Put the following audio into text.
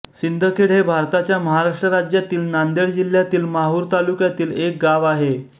शिंदखेड हे भारताच्या महाराष्ट्र राज्यातील नांदेड जिल्ह्यातील माहूर तालुक्यातील एक गाव आहे